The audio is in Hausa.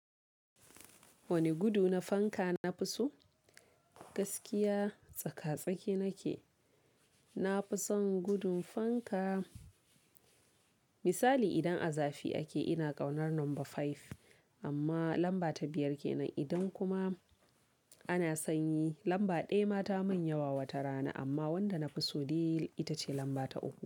Wane gudu na fanka na fi so? Gaskiya tsaka-tsaki nake, na fi son gudun fanka. Misali idan a zafi ake ina ƙaunar lamba five, amma lamba ta biyar ke nan. Idan kuma ana sanyi lamba ɗaya ma ta mun yawa wata rana, amma wanda na fi so dai ita ce lamba ta uku.